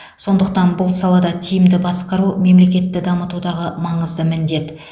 сондықтан бұл салада тиімді басқару мемлекетті дамытудағы маңызды міндет